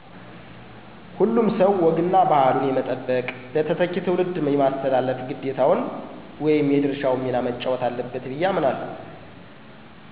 " ሁሉም ሰዉ ወግ እና ባህሉን የመጠበቅ ለተተኪ ትዉልድ የማስተላለፍ ግዴታቸውን ወይም የድርሻውን ሚና መጫወት አለበት ብየ አምናለሁ "።